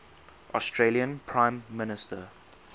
australian prime minister